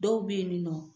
Dɔw bɛ yen nɔ